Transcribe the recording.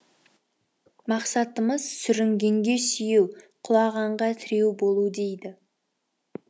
мақсатымыз сүрінгенге сүйеу құлағанға тіреу болу дейді